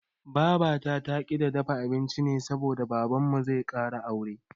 Babata taƙi ta dafa abinci ne saboda Babanmu zai ƙara aure.